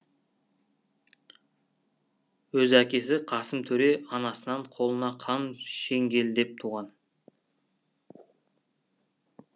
өз әкесі қасым төре анасынан қолына қан шеңгелдеп туған